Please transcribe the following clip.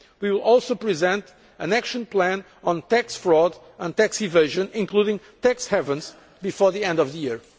We will also present an action plan on tax fraud and tax evasion including tax havens before the end of the year.